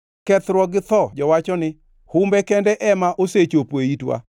Kethruok gi tho jowacho ni, ‘Humbe kende ema osechopo e itwa!’